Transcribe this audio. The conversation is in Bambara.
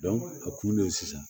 a kun de ye sisan